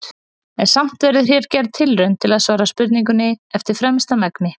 En samt verður hér gerð tilraun til að svara spurningunni eftir fremsta megni.